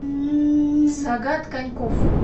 сагат коньков